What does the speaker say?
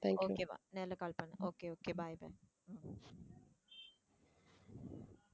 நேர்ல call பண்ணு okay okay bye